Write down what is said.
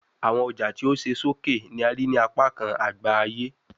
Awọn ọja ti o ṣe soke ni a rii ni apakan agba aye